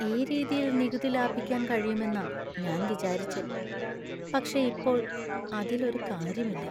ഈ രീതിയിൽ നികുതി ലാഭിക്കാൻ കഴിയുമെന്നാ ഞാൻ വിചാരിച്ചെ, പക്ഷേ ഇപ്പോൾ അതിൽ ഒരു കാര്യമില്ല.